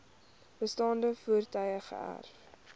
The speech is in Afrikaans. bestaande voertuie geërf